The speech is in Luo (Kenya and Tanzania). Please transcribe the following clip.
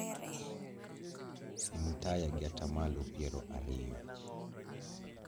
Sim taya gi atamalo piero ariyo